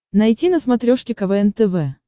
найти на смотрешке квн тв